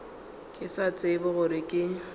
ke sa tsebe gore ke